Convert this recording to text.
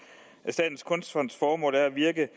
at statens kunstfonds formål er at virke